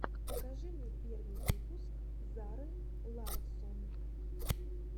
покажи мне первый выпуск зары ларссон